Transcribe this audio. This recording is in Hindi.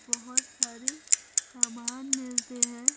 बहुत सारे सामान मिलते हैं।